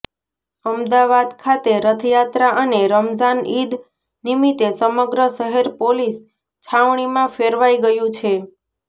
અમદાવાદ ખાતે રથયાત્રા અને રમઝાન ઈદ નિમિતે સમગ્ર શહેર પોલીસ છાવણીમાં ફેરવાઈ ગયું છે